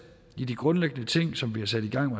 i de grundlæggende ting som vi har sat i gang